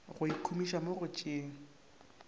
go ikhumiša mo go tšeeng